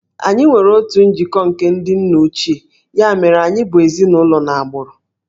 Anyị nwere otu njikọ nke ndị nna ochie, ya mere anyị bụ ezinụlọ n'agbụrụ